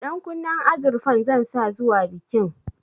Ɗankunnen azurfan zan sa zuwa bikin